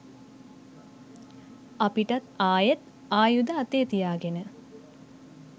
අපිටත් ආයෙත් ආයුධ අතේ තියාගෙන